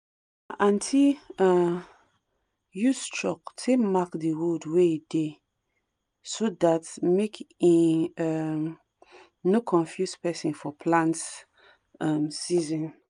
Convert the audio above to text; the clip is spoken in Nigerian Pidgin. ma aunty um use chalk take mark the tool wey dey so that make e um no confuse person for plant um season